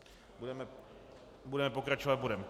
Budeme pokračovat bodem